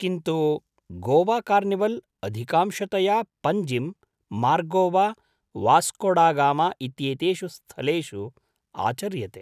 किन्तु गोवाकार्निवल् अधिकांशतया पञ्जिम्, मार्गोवा, वास्कोडागामा इत्येतेषु स्थलेषु आचर्यते।